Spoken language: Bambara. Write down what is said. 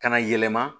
Ka na yɛlɛma